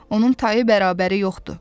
Onun tayı bərabəri yoxdur.